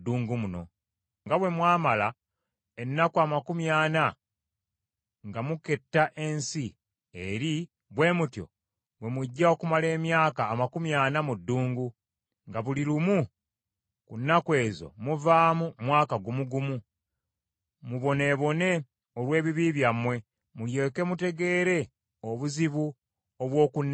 Nga bwe mwamala ennaku amakumi ana nga muketta ensi eri, bwe mutyo bwe mujja okumala emyaka amakumi ana mu ddungu, nga buli lumu ku nnaku ezo muvaamu mwaka gumu gumu; muboneebone olw’ebibi byammwe, mulyoke mutegeere obuzibu obw’okunneesimbamu.